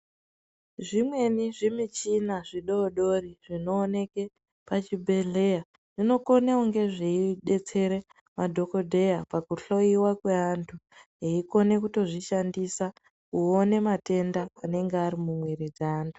Zvimweni zvimichina zvidodori zvinowoneke pachibhedhleya, zvinokone kuni zviyidetsere madhokodheya pakuhloyiwa kwe antu. Veyikone kutozvishandisa kuwone matenda anenge arimumwiri dze antu.